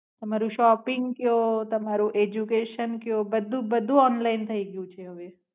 તમારો સોપીંગ કિયો તમારો એજયુકેશન કિયો બધુ બધું ઓનલાઈન થાઈ ગયું છે હાવે.